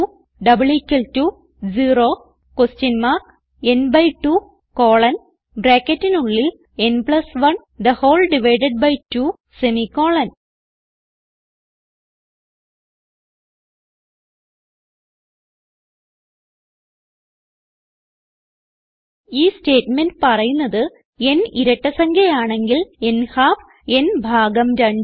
n 2 ന് 1 2 semi colon ഈ statement പറയുന്നത് n ഇരട്ട സംഖ്യ ആണെങ്കിൽ n ഹാൽഫ് n ഭാഗം 2 ആണ്